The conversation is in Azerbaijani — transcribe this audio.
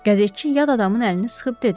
Qəzetçi yad adamın əlini sıxıb dedi.